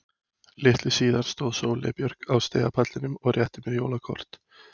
Litlu síðar stóð Sóley Björk á stigapallinum og rétti mér jóla kort.